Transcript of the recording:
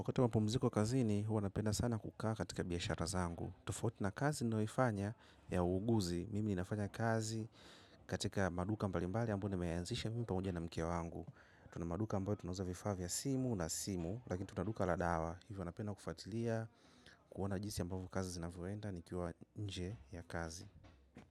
Wakati wa mapumziko kazini huwa napenda sana kukaa katika mabiashara zangu. Tufauti na kazi niyoifanya ya uuguzi. Mimi ninafanya kazi katika maduka mbalimbali ambao nimeyanzisha mi pamoja na mke wangu. Truna maduka ambao tunauza vifaa za simu na simu lakini tuna duka la dawa. Hivyo napenda kufatilia kuona jisi ambavo kazi zinavoenda ni kiwa nje ya kazi.